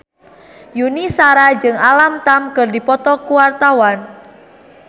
Yuni Shara jeung Alam Tam keur dipoto ku wartawan